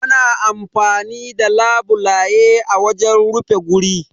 Ana amfani da labulaye a wajen rufe guri